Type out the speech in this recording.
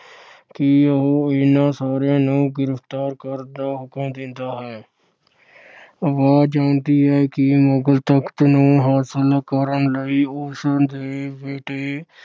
ਕਿ ਉਹ ਇਹਨਾਂ ਸਾਰਿਆਂ ਨੂੰ ਗ੍ਰਿਫਤਾਰ ਕਰਨ ਦਾ ਹੁਕਮ ਦਿੰਦਾ ਹੈ। ਆਵਾਜ ਆਉਂਦੀ ਹੈ ਕਿ ਮੁਗਲ ਸਲਤਨਤ ਨੂੰ ਹਾਸਲ ਕਰਨ ਲਈ ਉਸ ਦੇ ਬੇਟੇ